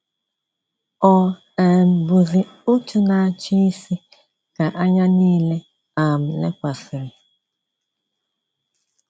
Ọ um bụzi òtù na-achị isi ka anya niile um lekwasịrị.